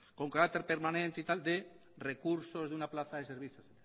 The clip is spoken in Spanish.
con carácter permanente de recursos de una plaza de servicios